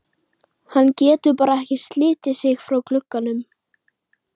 Hann getur bara ekki slitið sig frá glugganum.